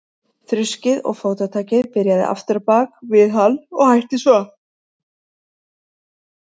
Þruskið og fótatakið byrjaði aftur á bak við hann og hætti svo.